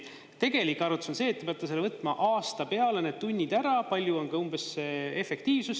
Tegelik arvutus on see, et te peate võtma aasta peale need tunnid ära, palju on umbes see efektiivsus.